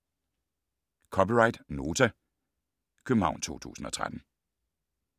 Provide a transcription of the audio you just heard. (c) Nota, København 2013